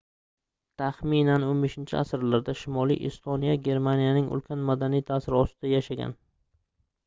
taxminan 15-asrlarda shimoliy estoniya germaniyaning ulkan madaniy taʼsiri ostida yashagan